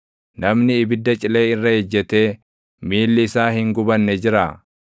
Namni ibidda cilee irra ejjetee miilli isaa hin gubanne jiraa?